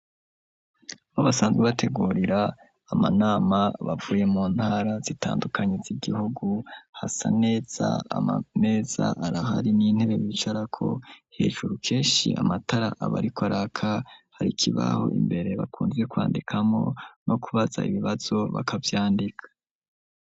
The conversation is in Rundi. Bo basanzwe bategurira amanama bavuye mu ntara zitandukanyitza igihugu hasa aneza amameza arahari n'intebe bicarako hejuru kenshi amatara abariko araka hari ikibaho imbere bakunze kwandikamo no kubaza ibibazo bakavyandika.